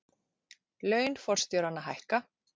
Laun forstjóranna hækka